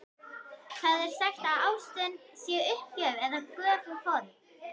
Það er sagt að ástin sé uppgjöf eða göfug fórn.